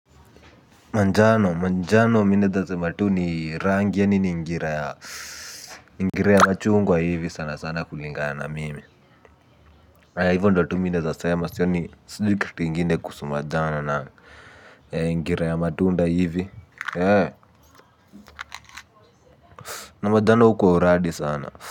Manjano manjano minaeza sema tu ni rangi ya nini ngira ya ngira ya machungwa hivi sana sana kulingana mimi hivo ndio tu mih naeza sema sioni kitu ingine kuhusu manjano ngira ya matunda hivi na majano hukua uradi sana.